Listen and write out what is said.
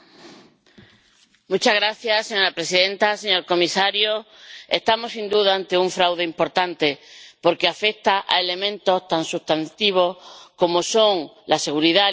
Señora presidenta, señor comisario, estamos sin duda ante un fraude importante porque afecta a elementos tan sustantivos como son la seguridad alimentaria y la salud pública.